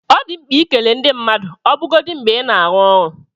Ọ dị mkpa ikele ndị mmadụ ọbụgodi mgbe ị na-arụ ọrụ.